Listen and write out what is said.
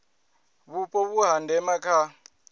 vhupo vhu ha ndeme kha